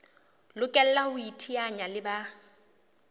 lokela ho iteanya le ba